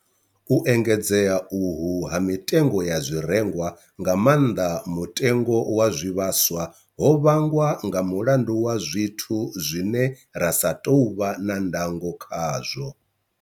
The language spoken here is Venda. U engedzea uhu ha mitengo ya zwirengwa, nga maanḓa mutengo wa zwivhaswa, ho vhangwa nga mulandu wa zwithu zwine ra sa tou vha na ndango khazwo.